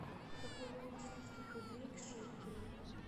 какой курс русских рублей к шекелю